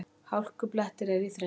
Hálkublettir eru í Þrengslum